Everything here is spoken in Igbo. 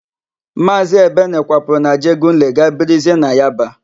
Maazị Ebene kwapụrụ n'Ajegunle gaa birizie na Yaba.